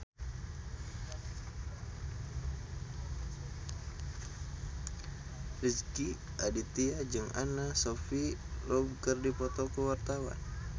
Rezky Aditya jeung Anna Sophia Robb keur dipoto ku wartawan